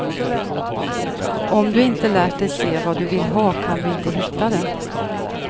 Om du inte lärt dig se vad du vill ha kan du inte hitta det.